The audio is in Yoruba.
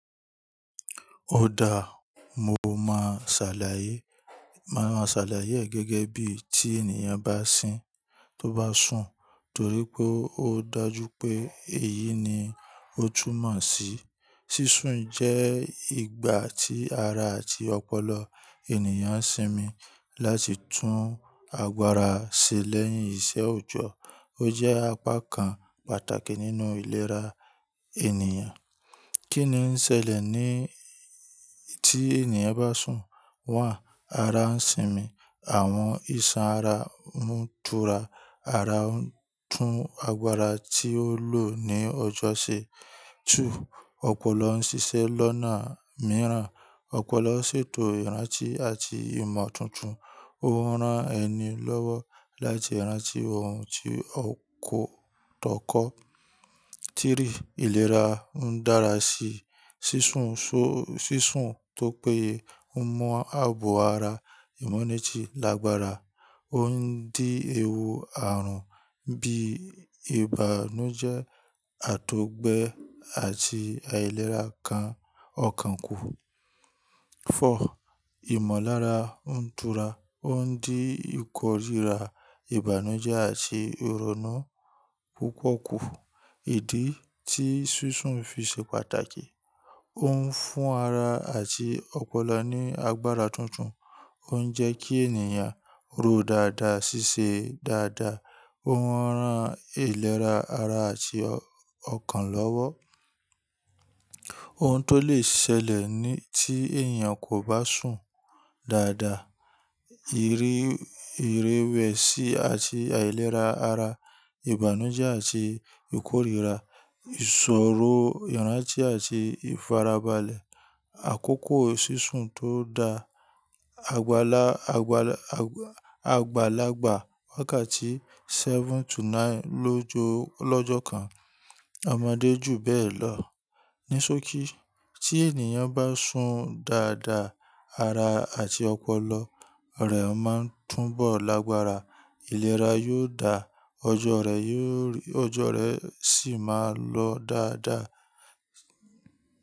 Óda, mo máa ṣàlàyé, máa ma ṣàlàyé ẹ̀ gẹ́gẹ́ bí tí ènìyàn bá sín tó bá sùn, torí pé ó dájú pé èyí ni ó túmọ̀ sí. Sísún jẹ́ ìgbà tí ara àti ọpọlọ ènìyàn ń sinmi láti tún agbára ṣe lẹ́yìn iṣẹ́ òjọ́. Ó jẹ́ apá kan pàtàkì nínú ìlera ènìyàn. Kí ni ń ṣẹlẹ̀ ní tí ènìyàn bá sùn? One. Ara ń sinmi, àwọn iṣan ara ń tura, ara ń tún agbára tí ó lọ ní ọjọ́ ṣe. Two, ọpọlọ ń ṣiṣẹ́ lọ́nà mìíràn. Ọpọlọ ṣètò ìrántí àti ìmọ̀ tuntun. Ó ń rán ẹni lọ́wọ́ láti rántí ohun tí ó kọ́ tọ́kọ̀. Three, ìlera ń dára sí. Sísún ṣo, sísún tó péye ń mú ààbò ara, ìmúnìjí lágbára, ó ń dín ewu àrùn bí ìbànújẹ́, àtọ̀gbẹ àti àìlera ọkàn kù. Four, ìmọ̀lára ń tura, ó ń dín ìkórira, ìbànújẹ́ àti ìrònú púpọ̀ kù. Ìdí tí sísún fi ṣe pàtàkì, ó ń fún ara àti ọpọlọ ní agbára tuntun, ó ń jẹ́ kí ènìyàn rò dáadáa, ṣiṣẹ́ dáadáa, ó ń ran ìlera ara àti ọkàn lọ́wọ́. Ohun tó lè ṣẹlẹ̀ ní tí èèyàn kò bá sùn dáadáa, iré, ìrẹwẹ̀sì àti àìlera ara, ìbànújẹ́ àti ìkórira, ìṣòro, ìrántí àti ìfarabalẹ̀. Àkókò sísún tó da, àgbàlagbà, àgbàlagbà wákàtí seven to nine lọ́jọ́ kan. Ọmọdé jù bẹ́ẹ̀ lọ. Ní sókí, tí ènìyàn bá sùn dáadáa, ara àti ọpọlọ rẹ̀ máa ń túbọ̀ lágbára, ìlera yóò dáa, ọjọ́ rẹ yóò, ọjọ́ rẹ sì máa lọ dáadáa.